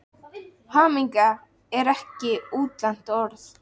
Hamingja, er það ekki útlent orð?